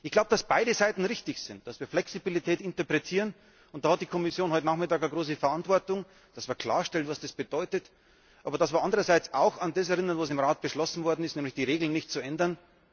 Ich glaube, dass beide Seiten richtig sind, dass wir Flexibilität interpretieren und da hat die Kommission heute Nachmittag eine große Verantwortung, dass man klarstellt, was das bedeutet aber dass wir andererseits auch an das erinnern, was im Rat beschlossen worden ist, nämlich die Regeln nicht zu ändern.